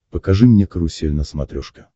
покажи мне карусель на смотрешке